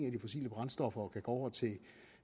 af de fossile brændstoffer og kan gå over til